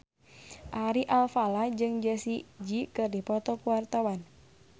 Ari Alfalah jeung Jessie J keur dipoto ku wartawan